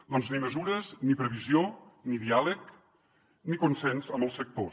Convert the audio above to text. doncs ni mesures ni previsió ni diàleg ni consens amb els sectors